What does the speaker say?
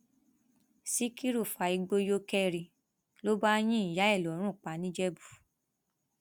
síkírù fa igbó yó kẹri ló bá yin ìyá ẹ lọrùn pa nìjẹbù